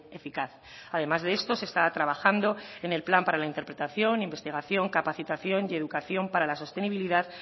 eficaz además de esto se está trabajando en el plan para la interpretación investigación capacitación y educación para la sostenibilidad